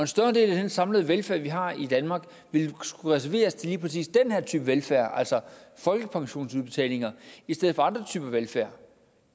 større del af den samlede velfærd vi har i danmark vil skulle reserveres til lige præcis den her type velfærd altså folkepensionsudbetalinger i stedet for andre typer velfærd